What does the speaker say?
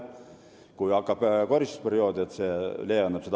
Kui hakkab koristusperiood, siis on see leevenduseks.